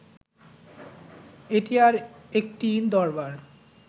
এটি আর একটি দরবার